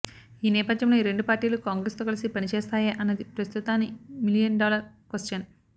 ఈ నేపథ్యంలో ఈ రెండు పార్టీలు కాంగ్రెస్ తో కలిసి పనిచేస్తాయా అన్నది ప్రస్తుతాని మిలియన్ డాలర్ క్వశ్చన్